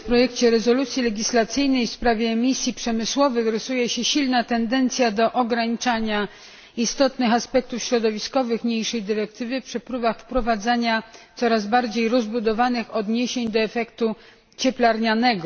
W projekcie rezolucji legislacyjnej w sprawie misji przemysłowych rysuje się silna tendencja do ograniczania istotnych aspektów środowiskowych niniejszej dyrektywy przy próbach wprowadzania coraz bardziej rozbudowanych odniesień do efektu cieplarnianego.